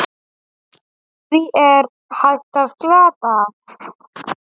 Því er hægt að glata!